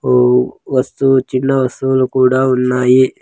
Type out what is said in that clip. ఒ వస్తువు చిన్న వస్తువులు కూడా ఉన్నాయి.